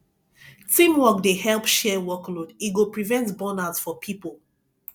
teamwork dey help share workload e go prevent burnout for pipo